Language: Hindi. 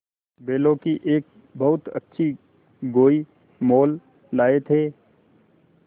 बैलों की एक बहुत अच्छी गोई मोल लाये थे